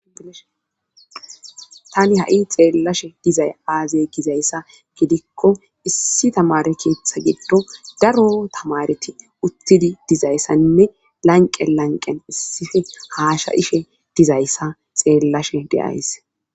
tani ha7i xeellashe dizay aazey gizayssa gidikko issi tamare keeththa giddo daro tamareti utidi dizayssanne lanqe lanqen issife haasha ishe dizayssa xeellashe deays